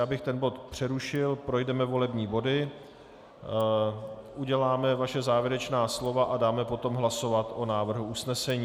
Já bych ten bod přerušil, projdeme volební body, uděláme vaše závěrečná slova a dáme potom hlasovat o návrhu usnesení.